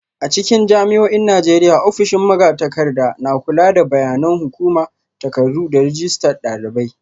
A cikin jami'o'in Najeriya, ofishin magatakarda na kula da bayanan hukuma, takardu, da rajistar dalibai.